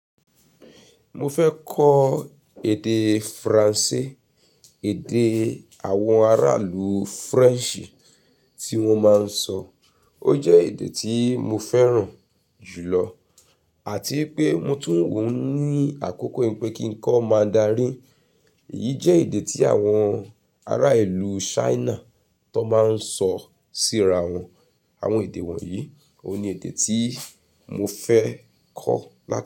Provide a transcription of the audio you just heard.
Mo fẹ́ kọ́ èdè Faransé, èdè àwọn ará ìlú French tí wọ́n máa ń sọ. Ó jẹ́ èdè tí mo fẹ́ràn jù lọ àti pé mo tún wùn ní àkókò pé kí ń kọ́ Mandarin. Èyí jẹ́ èdè tí àwọn ará ìlú China tó máa ń sọ sí ara wọn. Àwọn èdè wọ̀nyí òun ni èdè tí mo fẹ́ kọ́